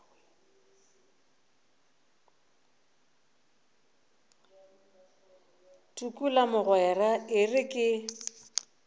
tukula mogwera e re ke